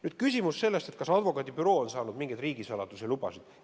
Nüüd küsimus sellest, kas advokaadibüroo on saanud mingeid riigisaladuse lubasid.